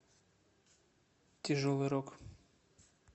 тяжелый рок